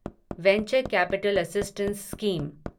venture capital assistance scheme